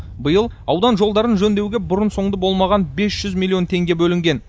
биыл аудан жолдарын жөндеуге бұрын соңды болмаған бес жүз миллион теңге бөлінген